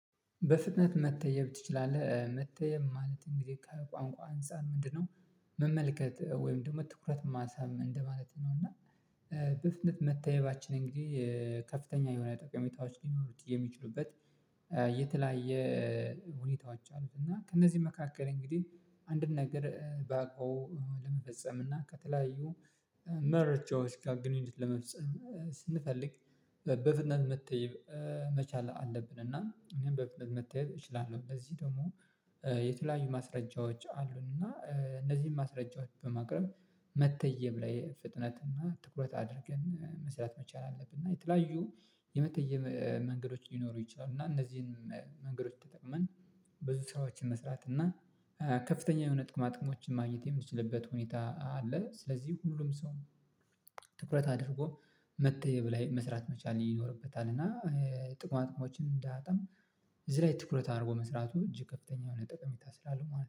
በፍጥነት መተየብ ትችላለህ መተየብ ማለት እንግዲህ ከቋንቋ አንፃር ምንድነው? መመልከት ወይም ደግሞ ትኩረት መሳብ እንደማለት ነው። እና በፍጥነት መተየባችን እንግዲህ ከፍተኛ የሆነ ጠቀሜታዎች ሊኖሩት የሚችሉበት የተለያየ ሁኔታዎች አሉት። እና ከእነዚህ መካከል እንግዲህ አንድን ነገር ባግባቡ ለመፈጸም እና ከተለያዩ መረጃዎች ጋር ግንኙነት ለመፍጠር ስንፈልግ በፍጥነት መተየብ መቻል አለብን። እና እኔም በበፍነት መተየብ እንደዚህ ደግሞ የተለያዩ ማስረጃዎች አሉን። እና እነዚህን ማስረጃዎች በማቅረብ መተየብ ላይ ፍጥነትና ትኩረት አድርገን መስራት መቻል አለብንና የተለያዩ የመተየብ መንገዶች ሊኖሩ ይችላሉ። እና እነዚህን መንገዶች ተጠቅመን ብዙ ስራዎችን መስራት እና ከፍተኛ የሆነ ጥቅማ ጥቅሞችን ማግኘት የምንችልበት ሁኔታ አለ። ስለዚህ ሁሉም ሰው ትኩረት አድርጎ መተየብ ላይ መስራት መቻል ይኖርበታል። እና ጥቅማ ጥቅሞችን እንዳያጣም እዚህ ላይ ትኩረት አድርጎ መስራቱ እጅግ ከፍተኛ የሆነ ጥቅም ስላለው ማለት ነው